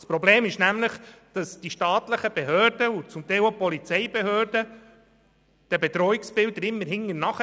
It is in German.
Das Problem ist, dass die staatlichen Behörden und zum Teil auch die Polizeibehörden den Bedrohungen hinterherhinken.